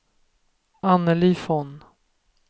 Anneli Von